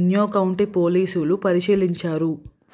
Inyo County పోలీసులు పరిశీలించారు